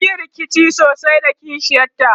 sunyi rikici sosai da kishiyar ta